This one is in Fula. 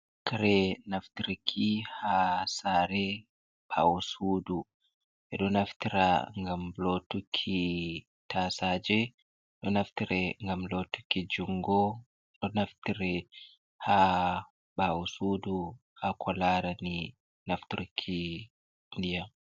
Kare naftirki ha sare ɓawo sudu, ɓe ɗo naftira ngam lotuki tasaje, ɗo naftire ngam lotuki jungo, ɗo naftire ha ɓawo sudu ha kolarani nafturki ndiyam.